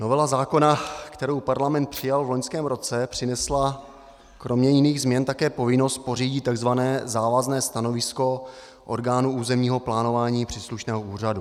Novela zákona, kterou Parlament přijal v loňském roce, přinesla kromě jiných změn také povinnost pořídit tzv. závazné stanovisko orgánů územního plánování příslušného úřadu.